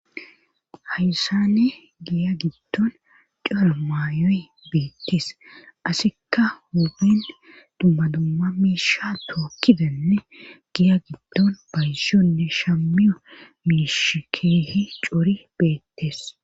hayssane giya giddon coro mayoy beettis asikka humin dummadumma miisha tookkidenne giya giddon baysiyonne shammiyo mishikeehi cori beettes